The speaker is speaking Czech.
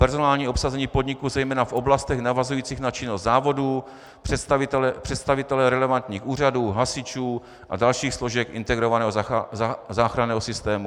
Personální obsazení podniku zejména v oblastech navazujících na činnost závodů, představitelé relevantních úřadů, hasičů a dalších složek integrovaného záchranného systému.